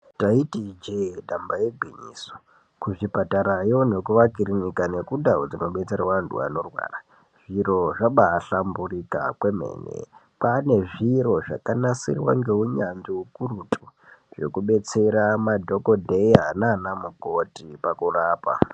Taiti ijee damba igwinyiso kuzvipatarayo nekumakirinika nemundau dzinobetserwa antu anorwara zviro zvabahlamburika kwemene kwane zviro zvakanasirwa ngeunyanzvi ukurutu zvekubetsera madhokodheya nana mukoti pakurapa.